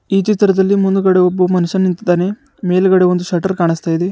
ಈ ಚಿತ್ರದಲ್ಲಿ ಮುಂದಗಡೆ ಒಬ್ಬ ಮನುಷ್ಯ ನಿಂತಿದ್ದಾನೆ ಮೇಲ್ಗಡೆ ಒಂದು ಶಟರ್ ಕಾಣುಸ್ತಾಯಿದೆ.